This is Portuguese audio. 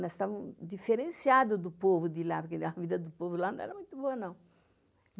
Nós estávamos diferenciados do povo de lá, porque a vida do povo lá não era muito boa, não.